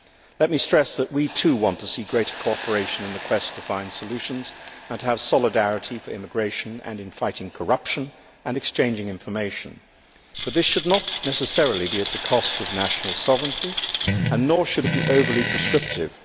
Let me stress that we, too, want to see greater cooperation in the quest to find solutions, and to have solidarity on immigration and in fighting corruption and exchanging information, but this should not necessarily be at the cost of national sovereignty, nor should it be overly prescriptive.